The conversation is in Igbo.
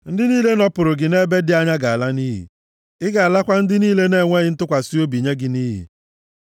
Ndị niile nọpụrụ gị nʼebe dị anya ga-ala nʼiyi. Ị ga-alakwa ndị niile na-ekwesighị ntụkwasị obi, nye gị nʼiyi.